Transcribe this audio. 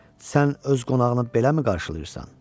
Sən öz qonağını beləmi qarşılayırsan?